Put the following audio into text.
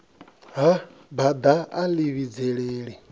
ha bada a ḽi vhidzelela